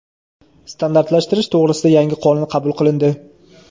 Standartlashtirish to‘g‘risida yangi qonun qabul qilindi.